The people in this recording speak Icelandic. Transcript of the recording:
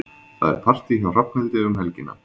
Það er partí hjá Hrafnhildi um helgina.